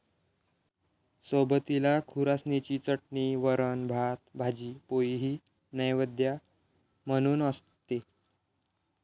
सोबतीला खुरासणीची चटणी, वरण, भात, भाजी पोळीही नैवेद्य म्हणून असते.